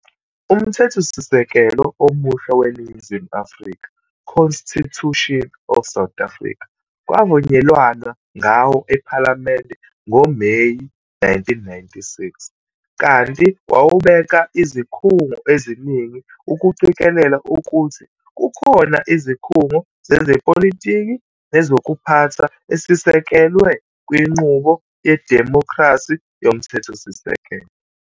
UMthethosisekelo omusha weNingizimu Afrika, Constitution of South Africa, kwavunyelwana ngawo ephalamende ngoMeyi 1996, kanti wawubeka izikhungo eziningi ukuqikelela ukuthi kukhona izikhungo zezepolitiki nezokuphatha esisekelwe kwinqubo yedimokhrasi yomthethosisekelo.